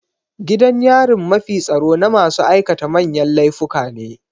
Gidan yarin mafi tsaro na masu aikata manyan laifuka ne.